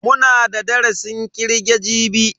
Muna da darasin kirge jibi.